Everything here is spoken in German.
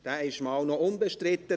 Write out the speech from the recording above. – Der ist schon einmal unbestritten.